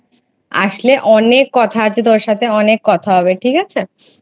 আসলে অনেককথা আছে তোর সাথে অনেক কথা হবে ঠিক আছে।